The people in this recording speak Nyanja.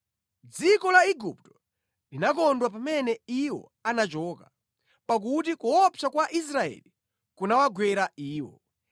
Dziko la Igupto linakondwa pamene iwo anachoka, pakuti kuopsa kwa Israeli kunawagwera iwo.